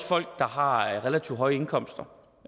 folk der har relativt høje indkomster